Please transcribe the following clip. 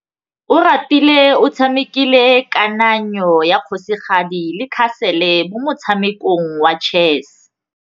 Oratile o tshamekile kananyô ya kgosigadi le khasêlê mo motshamekong wa chess.